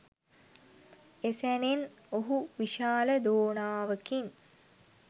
එසැනෙන් ඔහු විශාල දෝනාවකින්